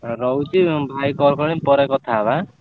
ରହୁଛି ଭାଇ call କଲେଣି ପରେ କଥା ହବା ଆଁ।